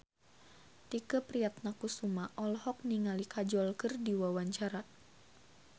Tike Priatnakusuma olohok ningali Kajol keur diwawancara